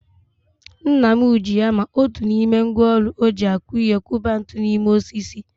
Nna m ji hama, otu n'ime ngwaọrụ eji akụ ihe kụba ntu n'ime osisi